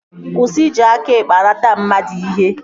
Kwụsị iji aka ekpe anata mmadụ ihe!